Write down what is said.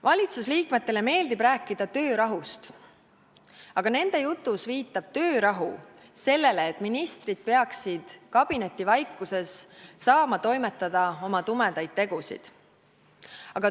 Valitsusliikmetele meeldib rääkida töörahust, aga sõna "töörahu" nende jutus viitab sellele, et ministrid peaksid kabinetivaikuses saama toimetada oma tumedaid tegusid.